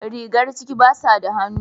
Rigar ciki basu da hannu.